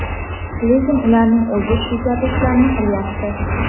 lekin ularning o‘zi shu kabi ishlarni qilyapti.